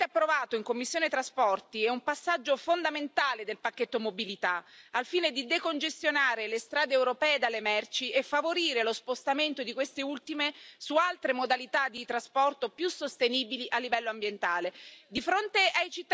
Il testo, ampiamente approvato in commissione TRAN, è un passaggio fondamentale del pacchetto Mobilità, al fine di decongestionare le strade europee dalle merci e favorire lo spostamento di queste ultime su altre modalità di trasporto più sostenibili a livello ambientale.